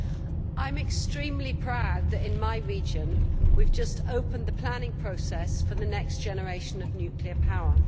Mr President, I am extremely proud that in my region we have just opened the planning process for the next generation of nuclear power.